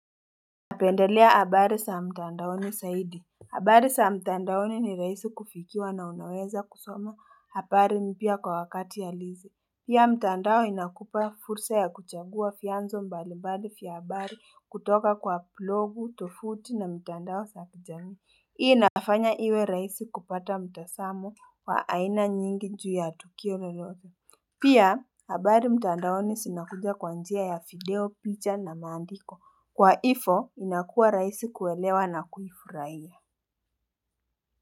Napendelea habari za mtandaoni zaidi. Habari za mtandaoni ni rahisi kufikiwa na unaweza kusoma habari mpya kwa wakati halisi pia mtandao inakupa fursa ya kuchagua vianzo mbali mbali vya habari kutoka kwa blogu, tofauti na mtandao za kijamii. Hii nafanya iwe rahisi kupata mtazamo wa aina nyingi juu ya tukio lolote. Pia, habari mtandaoni zinakuja kwa njia ya video, picha na maandiko. Kwa ivo, inakuwa raisi kuelewa na kufurahia.